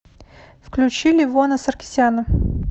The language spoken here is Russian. включи левона саркисяна